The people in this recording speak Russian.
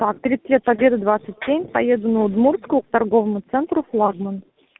так тридцать лет победы двадцать семь поеду на удмуртскую к торговому центре флагман